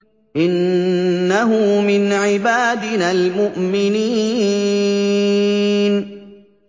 إِنَّهُ مِنْ عِبَادِنَا الْمُؤْمِنِينَ